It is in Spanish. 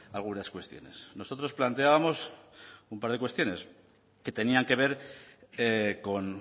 algunas cuestiones nosotros planteábamos un par de cuestiones que tenían que ver con